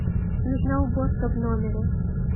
нужна уборка в номере